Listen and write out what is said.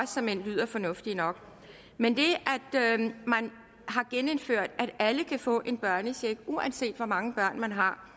såmænd lyder fornuftigt nok men det at man har genindført at alle kan få en børnecheck uanset hvor mange børn man har